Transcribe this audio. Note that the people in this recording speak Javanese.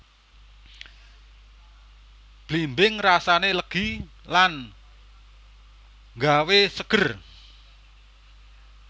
Blimbing rasané legi lan nggawé seger